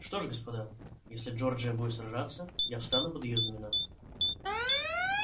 что ж господа если джорджия будет сражаться я встану под её знамёна